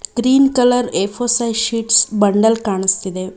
Green colour A four size sheet bundle ಕಾಣಿಸ್ತಿದೆ.